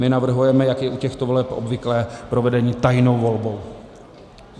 My navrhujeme, jak je u těchto voleb obvyklé, provedení tajnou volbou.